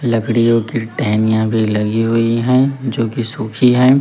लड़कियों की टहनियां भी लगी हुई है जो की सूखी है।